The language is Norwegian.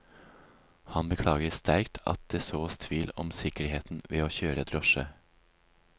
Han beklager sterkt at det sås tvil om sikkerheten ved å kjøre drosje.